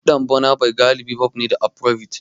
Kiɗan Burna Boy galibi pop ne da Afrobeats.